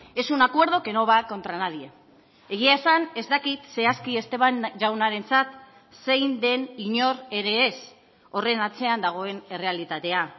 es un acuerdo que no va contra nadie egia esan ez dakit zehazki esteban jaunarentzat zein den inor ere ez horren atzean dagoen errealitatea